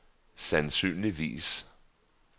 sandsynligvis